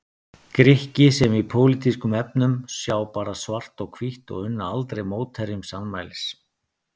Grikki sem í pólitískum efnum sjá bara svart og hvítt og unna aldrei mótherjum sannmælis.